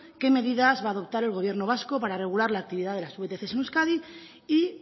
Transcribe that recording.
qué va a adoptar el gobierno vasco para regular la actividad de las vtc en euskadi y